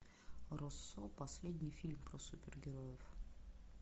россо последний фильм про супергероев